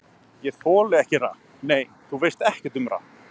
Ég þoli ekki rapp Nei, þú veist ekkert um rapp.